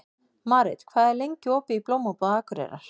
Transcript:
Marit, hvað er lengi opið í Blómabúð Akureyrar?